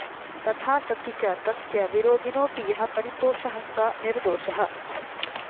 तथा सति च तस्य विरोधिनोऽपि यः परिपोषः स निर्दोषः